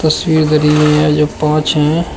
तस्वीर है जो पांच हैं।